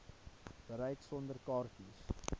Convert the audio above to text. bereik sonder kaartjies